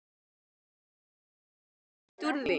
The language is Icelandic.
En geturðu ekki greitt úr því?